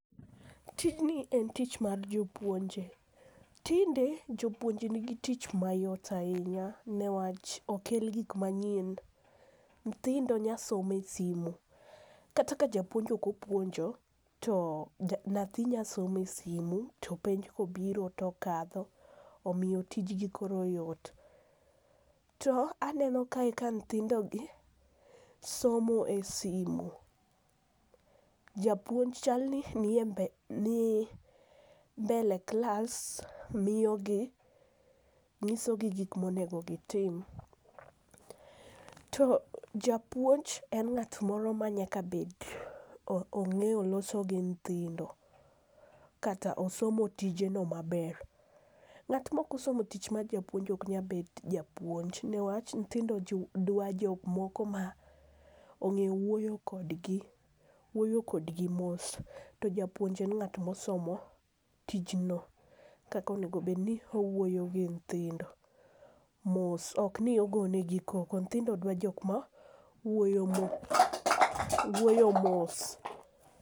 Tijni en tich mar jopuonje, tinde jopuonje nigi tich mayot ahinya niwach okel gik manyien ,nyithindo nya somo e simo, kata ka japuonj ok opuonjo to nyathi nyasomo e simu, to penj kobiro tokadho, omiyo tijgi koro yot. To aneno kae ka nyithindogi somo e simo, japuonj chalni nie mbele klas nyisogi gik monego gitim. To japuonj en ng'at moro ma nyaka bed, ong'eyo loso gi nyithindo kata osomo tijeno maber. Ng'at mok osomo tich mar japuonj ok nyabedo japuonj niwach nyithindo dwa jok moko ma ong'eyo wuoyo kodgi. Wuoyo kodgi mos, to japuonj en ng'at mosomo tijno, kaka onego obed ni owuoyo gi nyithindo, ok ni ogone gi koko, nyithindo dwa jok ma wuoyo mos.